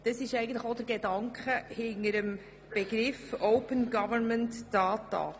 Das ist eigentlich auch der Gedanke hinter dem Begriff «Open Government Data».